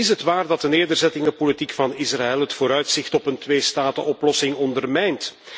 Zo is het waar dat de nederzettingenpolitiek van Israël het vooruitzicht op een tweestatenoplossing ondermijnt.